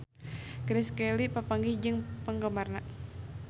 Grace Kelly papanggih jeung penggemarna